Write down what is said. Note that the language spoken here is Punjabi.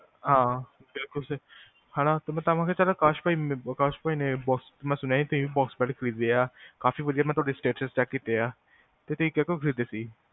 ਹਾਂ ਬਿਲਕੁਲ ਸਹੀ, ਹੈਨਾ ਅਕਾਸ਼ ਬਾਈ ਨੇ ਮੈਂ ਸੁਣਿਆ ਬਾਕਸ ਬੈਡ ਖਰੀਦਿਆ ਕਾਫ਼ੀ ਵਧਿਆ ਮੈਂ ਤੁਹਾਡੇ ਸਟੇਟਸ ਚੈੱਕ ਕੀਤਿਆ ਇਹ ਤੁਸੀ ਕੀਹਦੇ ਤੋਂ ਖਰੀਦਿਆ